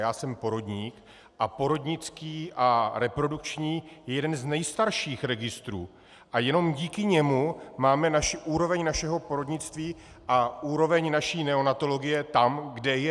Já jsem porodník a porodnický a reprodukční je jeden z nejstarších registrů a jenom díky němu máme úroveň našeho porodnictví a úroveň naší neonatologie tam, kde je.